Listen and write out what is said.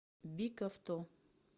бик авто